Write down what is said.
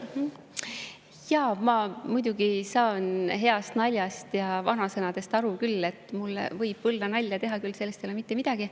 Jaa, ma muidugi saan heast naljast ja vanasõnadest aru küll, mulle võib võllanalja teha küll, sellest ei ole mitte midagi.